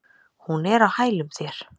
Hún er á hælum þér.